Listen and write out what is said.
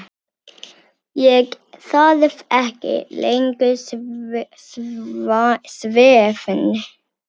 Ég þarf ekki langan svefn.